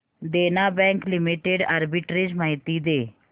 देना bank limited arbitrage माहिती दे